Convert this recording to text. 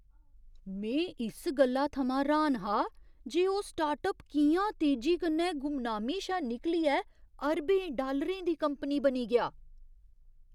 में इस गल्ला थमां र्हान हा जे ओह् स्टार्टअप कि'यां तेजी कन्नै गुमनामी शा निकलियै अरबें डालरें दी कंपनी बनी गेआ।